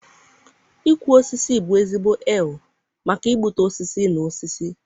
ịkwa osisi bụ ezigbo eal maka igbutu osisi na osisi.